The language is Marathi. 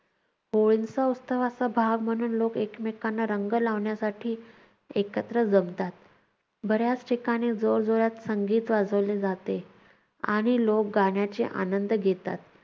होळीच्या उत्सवाचा भाग म्हणून लोक एकमेकांना रंग लावण्यासाठी एकत्र जमतात, बऱ्याच ठिकाणी जोरजोरात संगीत वाजवले जाते आणि लोक गाण्याचे आनंद घेतात.